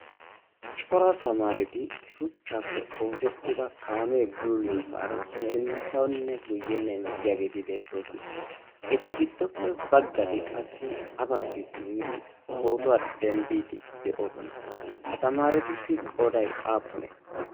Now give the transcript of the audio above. cora tamaareti shuchchaappe oosettida kaamee bulliyoosaara sinttaunne guyyenne emettiyaageeti beettoosona. eta giddoppe baggati qassi ha maggi simmidi pootuwaa denddiiddi de'oosona? ha tamaaretussi qoday aapunee?